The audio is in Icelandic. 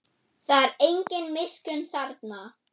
Það er engin miskunn þarna.